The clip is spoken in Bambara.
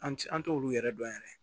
An ti an t'olu yɛrɛ dɔn yɛrɛ